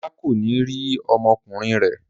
Ọlá kò ní rí ọmọkùnrin rẹ̀.